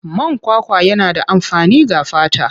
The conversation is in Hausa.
Man kwakwa yana da amfani ga fata.